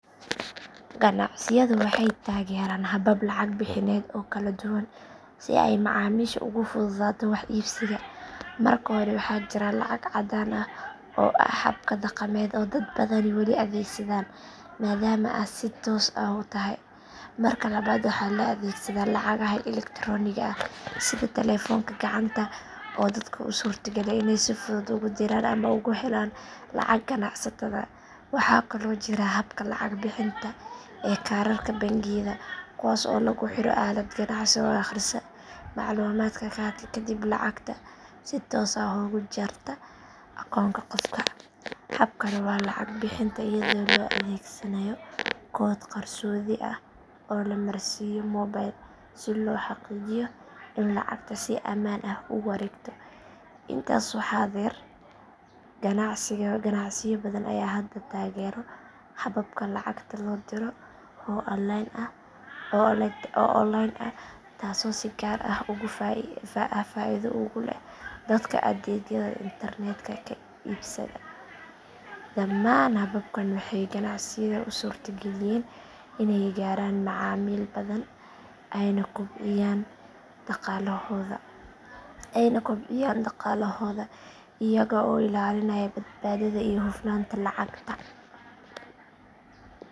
Ganacsiyadu waxay taageeraan habab lacag bixineed oo kala duwan si ay macaamiisha ugu fududaato wax iibsiga. Marka hore waxaa jira lacag caddaan ah oo ah habka dhaqameed ee dad badani wali adeegsadaan maadaama ay si toos ah u tahay. Marka labaad waxaa la adeegsadaa lacagaha elektaroonigga ah sida taleefanka gacanta oo dadka u suurtageliya inay si fudud ugu diraan ama ugu helaan lacag ganacsatada. Waxaa kaloo jira habka lacag bixinta ee kaararka bangiyada kuwaas oo lagu xiro aalad ganacsi oo akhrisa macluumaadka kaarka kadibna lacagta si toos ah uga jarta akoonka qofka. Hab kale waa lacag bixinta iyada oo la adeegsanayo koodh qarsoodi ah oo la marsiiyo moobil si loo xaqiijiyo in lacagta si amaan ah u wareegto. Intaas waxaa dheer ganacsiyo badan ayaa hadda taageera hababka lacagta loo diro oo online ah taasoo si gaar ah faa’iido ugu leh dadka adeegyada internetka ka iibsada. Dhammaan hababkan waxay ganacsiyada u suurtageliyaan inay gaaraan macaamiil badan ayna kobciyaan dhaqaalahooda iyaga oo ilaalinaya badbaadada iyo hufnaanta lacagta.